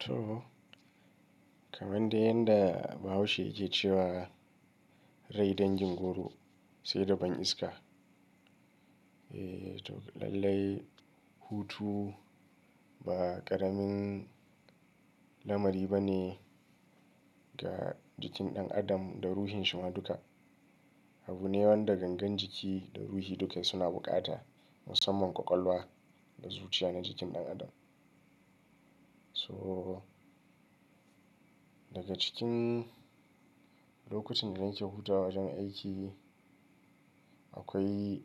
To kamar dai yadda bahaushe yake ce cewa, rai dangin goro, sai da ban iska. Eee to lallai hutu ba ƙaramin lamari ba ne ga jikin ɗan adam da ruhin shi ma duka. Abu ne wanda gangan jiki da ruhi duka suna bukata musamman ƙwaƙwalwa da zuciya na jikin ɗan adam. So daga cikin lokutan da nake hutawa wajen aiki akwai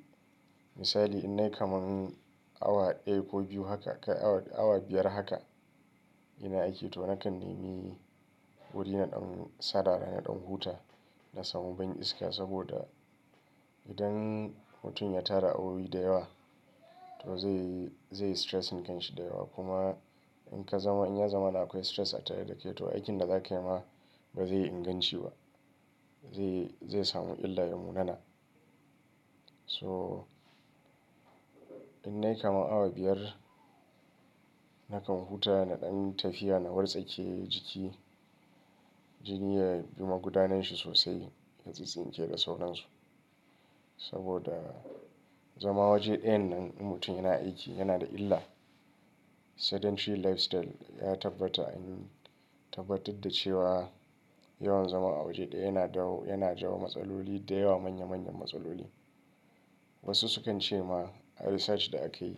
misali in nai kamar awa daya ko biyu haka kai awa, awa biyar haka ina aiki to nakan nemi wuri na ɗan sarara, na ɗan huta na samu ban iska saboda idan hutun ya tara awowi da yawa to zai, zai stressinh kanshi da yawa kuma in ka zama, in ya zama na akwai stress a tare da kai to aikin da zaka yi ma ba zai inganci ba. Zai, zai samu illa ya munana. So in nai kamar awa biyar nakan huta na ɗan tafiya, na wartsake jiki, jini ya bi magudanin shi sosai ya tsitstsinke da sauran su. Saboda zama waje ɗayan nan in mutum yana aiki yana da illa. Sedentary lifestyle ya tabbata in, tabbatar da cewa yawan zama a waje ɗaya yana dawo, yana jawo matsaloli da yawa manya manyan matsaloli. Wasu sukan ce ma a research da akayi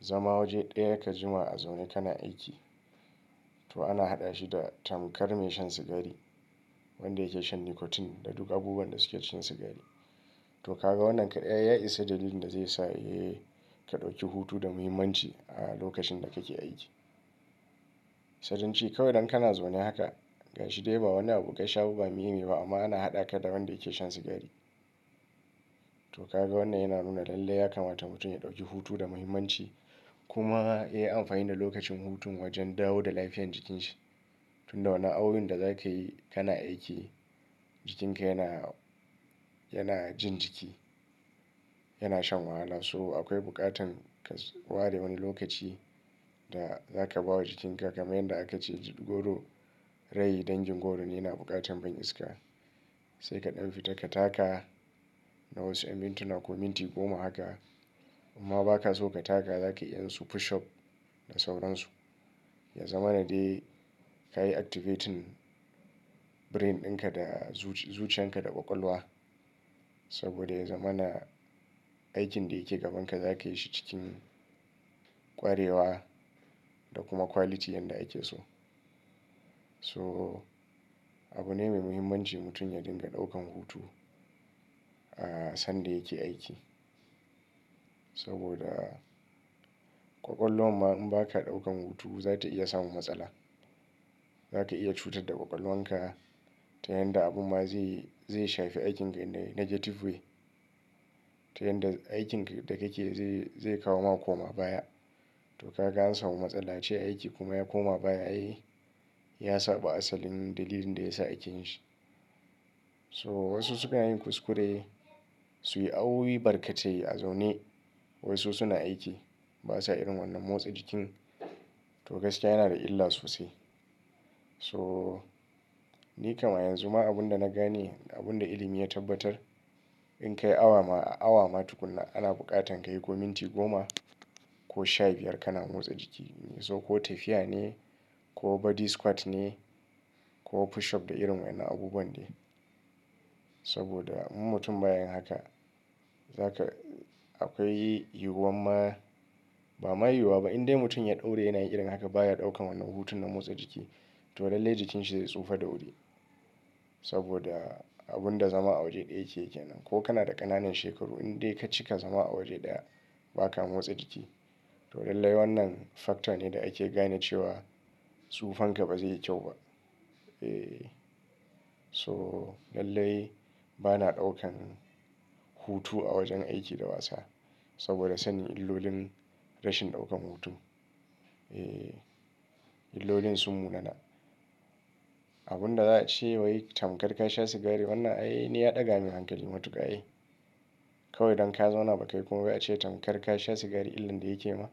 zama waje ɗaya ka jima a zaune kana aiki to ana haɗa shi da tamkar mai shan sigari wanda yake shan nicotine da duk abubuwan da suke cin sigari. To ka ga wannan kadai ai ya isa dalilin da zai sa eh ka ɗauki hutu da muhimmanci a lokacin da kake aiki. Kawai idan kana zaune haka ganshi dai ba wannan abu gashi abu ba mimi ne ba amma ana haɗa ka da wanda yake shan sigari. To ka ga wannan yana nuna lallai ya kamata mutum ya ɗauki hutu da muhimmanci kuma ya yi amfani da lokacin hutun wajen dawo da lafiyar jikin shi. Tunda wannan awowin da zaka yi kana aiki jikinka yana, yana jin jiki, yana shan wahala so akwai buƙatan ka ware wani lokaci da zaka ba wa jikinka kamar yadda aka ce jingoru rai dangin goro ne yana buƙatan ban iska. Sai ka ɗan fita ka taka na wasu mintuna ko minti goma haka. In ma ba ka so ka taka za ka iya yin su push up da sauran su. Ya zama na dai ka yi activating brain ɗinka da zuciyan ka da ƙwaƙwalwa. Saboda ya zama na aikin da yake gabanka za ka yi shi cikin kwarewa da kuma quality yanda ake so. So abu ne mai muhimmanci mutum ya dinga ɗaukan hutu sanda yake aiki. Saboda ƙwaƙwalwa ma in ba ka ɗaukan hutu za ta iya samu matsala. Za ka iya cutar da ƙwaƙwalwan ka ta yanda abun ma zai, zai shafi aikin ka negative way. Ta yanda aikin ka da kake zai, zai kawo ma koma baya. To ka ga an samu matsala ace aiki kuma ya koma baya ai ya saba asalin dalilin da ya sa ake yin shi. So wasu sukan yi kuskure su yi awowi barkatai a zaune wai su suna aiki ba sa irin wannan motsa jikin to gaskiya yana da illa sosai. So ni kam a yanzu ma abunda na gane abunda ilimi ya tabbatar in kai awa ma, awa ma tuƙun ana buƙatan ka yi ko minti goma ko sha biyar kana motsa jiki. In yaso ko tafiya ne ko body squat ne ko push up da irin wannan abubuwan ne. Saboda in mutum baya yin haka zaka akwai yiwuwar ma ba ma yiwuwa ba in dai mutum ya daure yana yin irin haka baya ɗaukan wannan hutun na motsa jiki to lallai jikin shi zai tsufa da wuri. Saboda abunda zama a waje ɗaya yake yake nan ko kana da ƙananan shekaru in dai ka cika zama a waje da ba ka motsa jiki to lallai wannan factor ne da ake gane cewa tsufan ka ba zai yi kyau ba. Eh so lallai bana ɗaukan hutu a wajen aiki da wasa saboda sanin illolin rashin ɗaukan hutu. Eh illolin sun munana. Abunda za a ce wai tamkar ka sha sigari wannan ai ni ya ɗaga min hankali matuƙa ai. Kawai dan ka zauna ba ka yi komai ba a ce tamkar ka sha sigari illan da yake ma.